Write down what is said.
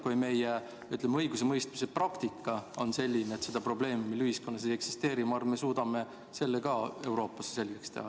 Kui meie õigusemõistmise praktika on selline, et seda probleemi meie ühiskonnas ei eksisteeri, siis küllap me suudame selle ka Euroopas selgeks teha.